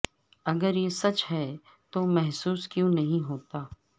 اگر یہ سچ ہے تو محسوس کیوں نہیں ہوتا